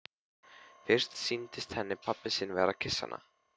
Fyrst sýndist henni pabbi sinn vera að kyssa hana.